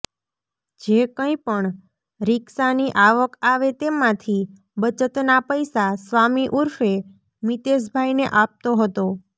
જે કંઈ પણ રિક્ષાની આવક આવે તેમાંથી બચતના પૈસા સ્વામી ઉર્ફે મિતેશભાઈને આપતો હતો